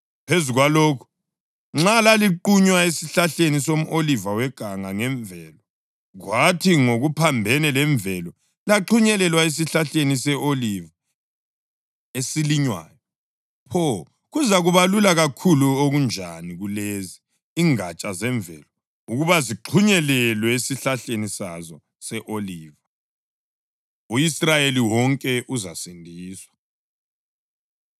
Phezu kwalokho, nxa laliqunywe esihlahleni somʼoliva weganga ngemvelo, kwathi ngokuphambene lemvelo laxhunyelelwa esihlahleni se-oliva esilinywayo, pho kuzakuba lula kakhulu okunjani kulezi, ingatsha zemvelo, ukuba zixhunyelelwe esihlahleni sazo se-oliva. U-Israyeli Wonke Uzasindiswa